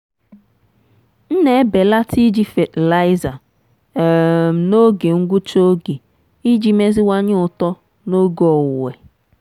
m na-ebelata iji fatịlaịza um n'oge ngwụcha oge iji meziwanye uto n'oge owuwe.